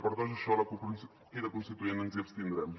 per tot això la cup crida constituent ens hi abstindrem